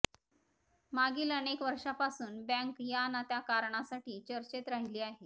मागील अनेक वर्षांपासून बँक या न त्या कारणासाठी चर्चेत राहिली आहे